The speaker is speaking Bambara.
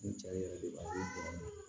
Ni cɛ ye yɛrɛ de